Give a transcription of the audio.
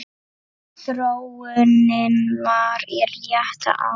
Þróunin er í rétta átt.